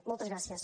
moltes gràcies